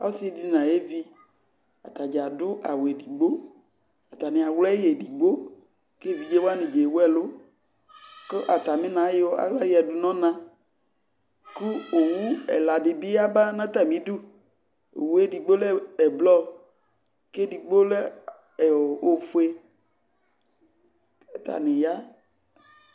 Ɔsɩ dɩ nʋ ayevi, ata dza adʋ awʋ edigbo Atanɩ awlɛ yɩ edigbo kʋ evidze wanɩ dza ewu ɛlʋ kʋ atamɩna ayɔ aɣla yǝdu nʋ ɔna kʋ owu ɛla dɩ bɩ yaba nʋ atamɩdu Owu edigbo lɛ ɛblɔ kʋ edigbo lɛ ɛ ɔ ofue kʋ atanɩ ya